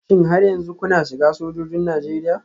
Shin har yanzu kuna shiga sojojin Najeriya?